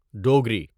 Dogri